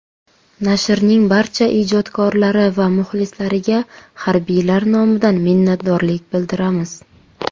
Nashrning barcha ijodkorlari va muxlislariga harbiylar nomidan minnatdorlik bildiramiz.